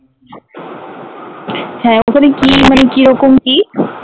হ্যাঁ ওখানে কি মানে কিরকম কি